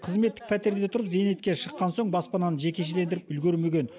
қызметтік пәтерде тұрып зейнетке шыққан соң баспананы жекешелендіріп үлгермеген